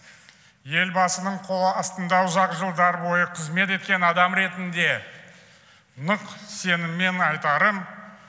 елбасының қол астында ұзақ жылдар бойы қызмет еткен адам ретінде нық сеніммен айтарым